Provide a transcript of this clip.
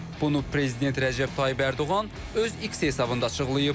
Bunu Prezident Rəcəb Tayyib Ərdoğan öz X hesabında açıqlayıb.